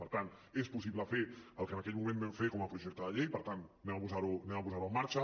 per tant és possible fer el que en aquell moment vam fer com a projecte de llei per tant posem lo en marxa